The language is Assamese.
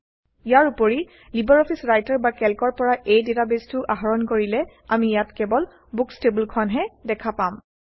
ইয়াৰ উপৰি লিবাৰঅফিছ ৰাইটাৰ বা ক্লেকৰ পৰা এই ডাটাবেছটো আহৰণ কৰিলে আমি ইয়াত কেৱল বুকচ্ টেবুলখনহে দেখা পাম